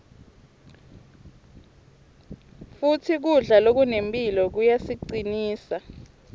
futsi kudla lokunemphilo kuyasicinsa